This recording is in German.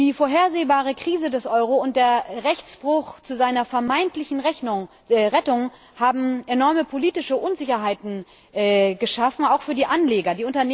Die vorhersehbare Krise des Euro und der Rechtsbruch zu seiner vermeintlichen Rettung haben enorme politische Unsicherheiten geschaffen, auch für die Anleger.